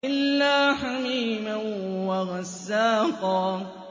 إِلَّا حَمِيمًا وَغَسَّاقًا